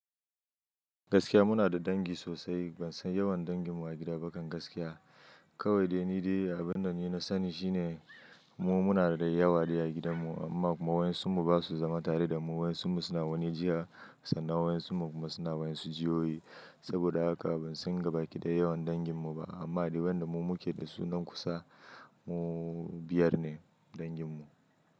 Gaskiya muna da dangi sosai, ban san yawan danginmu a gida ba kan gaskiya. Kawai dai ni dai abin da ni na sani shine mu muna da yawa ne a gidanmu amma waɗansu ba su zama tare da mu. Waɗansu suna waje jiya sannan waɗansu kuma suna wajen su jiyoyi. Saboda haka ban san gabaɗaya yawan danginmu ba amma dai waɗanda mu muke da su nan kusa mu biyar ne danginmu.